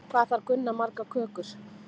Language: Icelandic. Hvað þarf Gunna margar kökur?